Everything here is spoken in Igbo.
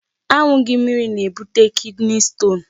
Aṅụghị mmiri na-ebute kidney stone.